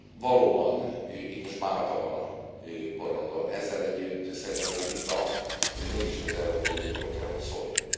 Valóban, itt most Málta van a porondon, ezzel együtt szerintem ez a vita azért mégiscsak az Európai Unióról kell, hogy szóljon.